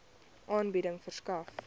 aanbieding verskaf